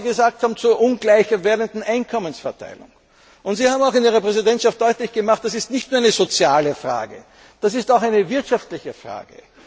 Auch was Sie gesagt haben zur ungleich werdenden Einkommensverteilung. Sie haben in Ihrer Präsidentschaft deutlich gemacht Das ist nicht nur eine soziale Frage, das ist auch eine wirtschaftliche Frage.